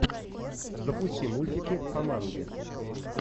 запусти мультики о манге